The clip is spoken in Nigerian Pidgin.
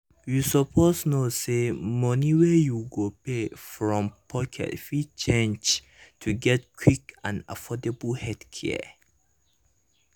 you suppose know say money wey you go pay from pocket fit change to get quick and affordable healthcare.